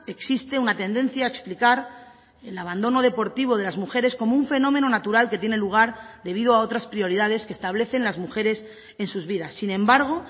existe una tendencia a explicar el abandono deportivo de las mujeres como un fenómeno natural que tiene lugar debido a otras prioridades que establecen las mujeres en sus vidas sin embargo